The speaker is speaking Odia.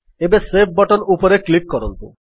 ଏବେ ସେଭ୍ ବଟନ୍ ଉପରେ କ୍ଲିକ୍ କରନ୍ତୁ